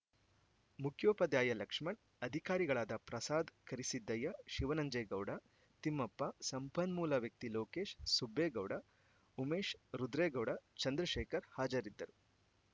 ಮುಖ್ಯೋಪಾಧ್ಯಾಯ ಲಕ್ಷ್ಮಣ್‌ ಅಧಿಕಾರಿಗಳಾದ ಪ್ರಸಾದ್‌ ಕರಿಸಿದ್ದಯ್ಯ ಶಿವನಂಜೇಗೌಡ ತಿಮ್ಮಪ್ಪ ಸಂಪನ್ಮೂಲ ವ್ಯಕ್ತಿ ಲೋಕೇಶ್‌ ಸುಬ್ಬೇಗೌಡ ಉಮೇಶ್‌ ರುದ್ರೇಗೌಡ ಚಂದ್ರಶೇಖರ್‌ ಹಾಜರಿದ್ದರು